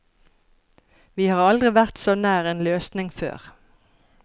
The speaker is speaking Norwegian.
Vi har aldri vært så nær en løsning før.